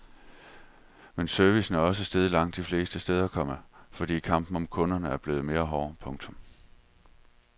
Men servicen er også steget langt de fleste steder, komma fordi kampen om kunderne er blevet mere hård. punktum